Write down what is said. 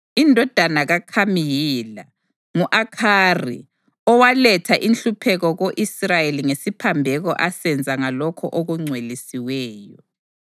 Indodana kaKhami yile: ngu-Akhari, owaletha inhlupheko ko-Israyeli ngesiphambeko asenza ngalokho okungcwelisiweyo.